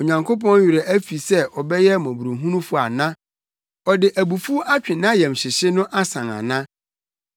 Onyankopɔn werɛ afi sɛ ɔbɛyɛ mmɔborɔhunufo ana? Ɔde abufuw atwe nʼayamhyehye no asan ana?”